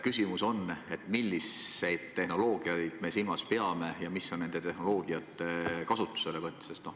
Küsimus on, milliseid tehnoloogiaid me silmas peame ja kuidas me neid tehnoloogiaid kasutame.